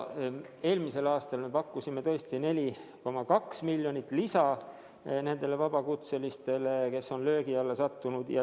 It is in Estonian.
Eelmisel aastal me pakkusime tõesti 4,2 miljonit eurot lisa nendele vabakutselistele, kes on löögi alla sattunud.